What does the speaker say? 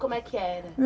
Como é que era?